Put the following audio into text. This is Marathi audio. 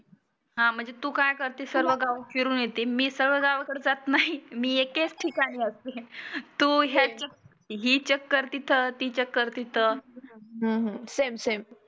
हा म्हणजे तु काय करते सर्व गाव फिरुण येती. मी सर्व गावाकड जात नाही मी एकेच ठिकाणी असते. तु ह्याचे ही चक्कर तिथं ती चक्कर तीथं हम्म हम्म सेम सेम